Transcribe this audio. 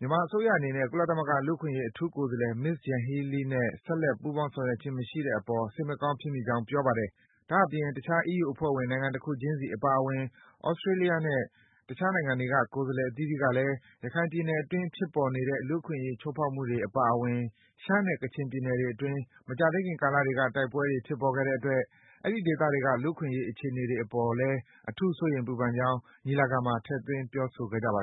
မြန်မာအစိုးရအနေနဲ့ ကုလသမဂ္ဂ လူ့အခွင့်အရေး အထူးကိုယ်စားလှယ် Ms. Yanhee Lee နဲ့ ဆက်လက် ပူးပေါင်း ဆောင်ရွက်ခြင်းမရှိတဲ့အပေါ် စိတ်မကောင်းဖြစ်မိကြောင်း ပြောပါတယ်။ ဒါ့အပြင် တခြား အီးယူအဖွဲ့ဝင် နိုင်ငံတခုချင်းစီ အပါအဝင် သြစတေးလျနဲ့ တခြားနိုင်ငံတွေက ကိုယ်စားလှယ် အသီးသီးကလည်း ရခိုင်ပြည်နယ်အတွင်း ဖြစ်ပေါ်နေတဲ့ လူ့အခွင့်အရေး ချိုးဖောက်မှုတွေ အပါအဝင် ရှမ်းနဲ့ ကချင်ပြည်နယ်တွေအတွင်း မကြာသေးခင် ကာလတွေက တိုက်ပွဲတွေ ဖြစ်ပေါ်ခဲ့တဲ့ အတွက် အဲဒီ ဒေသတွေက လူ့အခွင့်အရေး အခြေအနေတွေအပေါ်လည်း စိုးရိမ် ပူပန်မိကြောင်း ညီလာခံမှာ ထည့်သွင်း ပြောဆိုခဲ့ကြပါတယ်